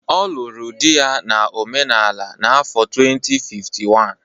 Ọ lụrụ di ya na omenala n'afọ 2051.